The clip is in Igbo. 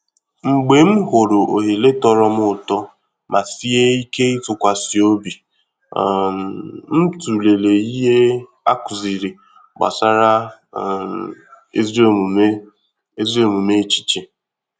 Mgbe m hụrụ ohere tọrọ m ụtọ ma sie íké ịtụkwasị ọ̀bì, um m tụlere ìhè a kụziri gbasara um ezi omume ezi omume echiche